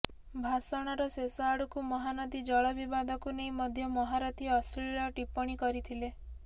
ଭାଷଣର ଶେଷ ଆଡକୁ ମହାନଦୀ ଜଳ ବିବାଦକୁ ନେଇ ମଧ୍ୟ ମହାରଥୀ ଅଶ୍ଲୀଳ ଟିପ୍ପଣୀ କରିଥିଲେ